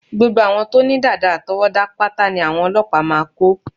Gbogbo àwọn tó ní dàdà àtọwọ́dá pátá ní àwọn ọlọ́pàá máa kó